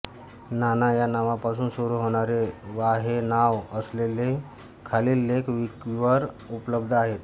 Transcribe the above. नाना या नावापासुन सुरू होणारे वा हे नाव असलेले खालील लेख विकिवर उपलब्ध आहेत